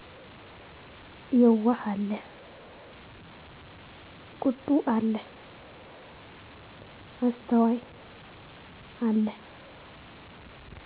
የዋ አለ ቁጡ አለ አስተዋይ አለ